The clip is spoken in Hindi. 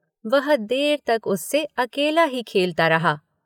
वह देर तक उससे अकेला ही खेलता रहा।